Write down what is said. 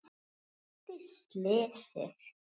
Hverju breytti slysið?